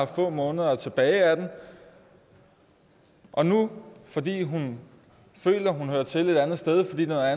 få måneder tilbage af den og nu fordi hun føler at hun hører til et andet sted fordi der er